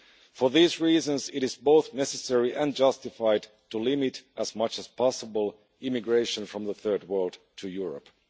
For these reasons it is both necessary and justified to limit as much as possible immigration from the Third World to Europe.